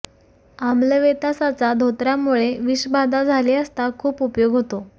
आम्लवेतासाचा धोताऱ्यामुळे विषबाधा झाली असता खूप उपयोग होतो